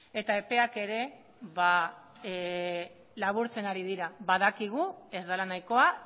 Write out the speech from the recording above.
epeak ere laburtzen ari dira badakigu ez dela nahikoa